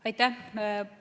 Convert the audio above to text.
Aitäh!